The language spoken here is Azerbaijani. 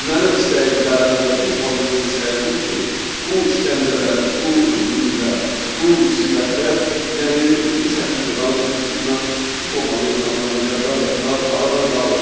Mənim istəyim, tələbim və bütün xalqımızın istəyi budur ki, bu işgəncələr, bu zülmlər, bu müsibətlər yəni bu şəkildə qanunsuzluqla, bu formada insanlara qəddar rəftar aradan qaldırılsın.